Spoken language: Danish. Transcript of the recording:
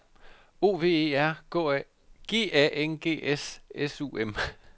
O V E R G A N G S S U M